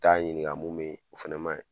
I t'a ɲininga mun bɛ yen o fɛnɛ ma ɲi.